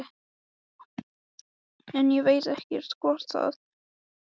En ég veit ekkert hvort það þarf svona mikla orku.